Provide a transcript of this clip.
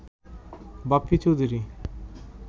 Bappi Chowdhury